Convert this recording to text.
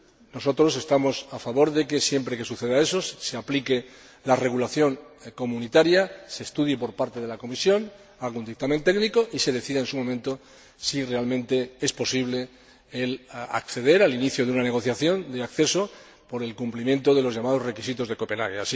Nosotros estamos a favor de que, siempre que suceda eso, se aplique la regulación comunitaria, se estudie por parte de la Comisión, se emita un dictamen técnico y se decida en su momento si realmente es posible iniciar una negociación de acceso por el cumplimiento de los llamados requisitos de Copenhague.